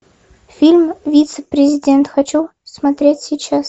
фильм вице президент хочу смотреть сейчас